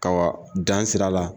Ka wa dan sira la.